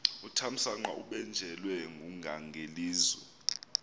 uthamsanqa ubanjelwe ngungangelizwe